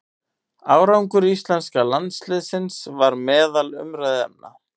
Árangur íslenska landsliðsins var meðal umræðuefna.